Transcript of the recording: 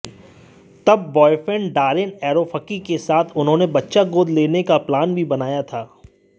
तब boyfriend Darren Aronofsky के साथ उन्होंने बच्चा गोद लेने का प्लान भी बनाया था